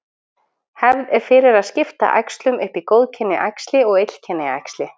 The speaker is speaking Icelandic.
Hefð er fyrir að skipta æxlum upp í góðkynja æxli og illkynja æxli.